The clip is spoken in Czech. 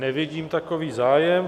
Nevidím takový zájem.